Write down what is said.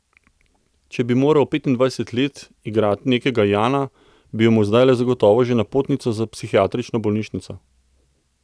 Če bi moral petindvajset let igrati nekega Jana, bi imel zdajle zagotovo že napotnico za psihiatrično bolnišnico.